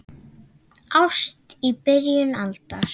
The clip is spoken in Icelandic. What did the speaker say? Ást í byrjun aldar